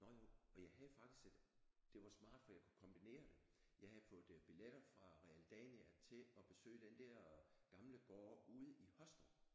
Nå jo og jeg havde faktisk et det var smart for jeg kunne kombinere det jeg havde fået billetter fra Realdania til at besøge den der gamle gård ude i Håstrup